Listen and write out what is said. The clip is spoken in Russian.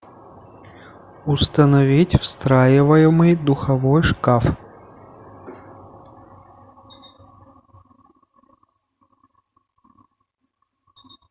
установить встраиваемый духовой шкаф